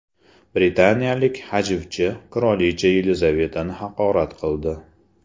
Britaniyalik hajvchi qirolicha Yelizavetani haqorat qildi.